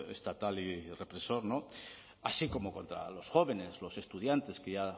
estatal y represor así como contra los jóvenes los estudiantes que ya